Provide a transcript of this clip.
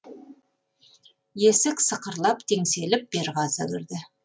есік сықырлап теңселіп берғазы кірді